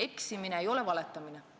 Eksimine ei ole valetamine.